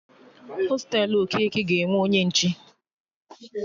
Hostelu Okeke ga-enwe onye nche